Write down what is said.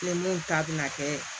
Ni mun ta bɛna kɛ